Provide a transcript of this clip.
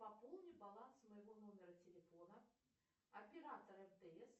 пополни баланс моего номера телефона оператор мтс